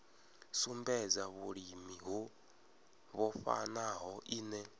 sumbedza vhulimi ho vhofhanaho ine